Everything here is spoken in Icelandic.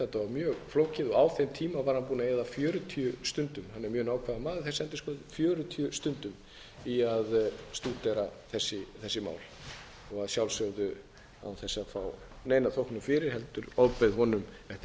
var mjög flókið á þeim tíma var hann búinn að eyða fjörutíu stundum hann er mjög nákvæmur maður þessi endurskoðandi fjörutíu stundum í að stúdera þessi mál og að sjálfsögðu án þess að fá neina þóknun fyrir heldur ofbauð honum eftir að vera búinn að